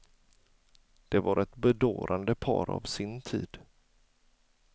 Det var ett bedårande par av sin tid.